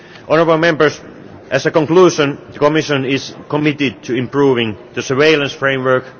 Honourable Members, as a conclusion, the Commission is committed to improving the surveillance framework.